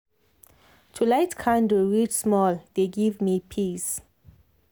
to light candle read small dey give me peace